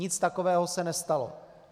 Nic takového se nestalo.